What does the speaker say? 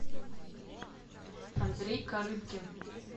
андрей карыбкин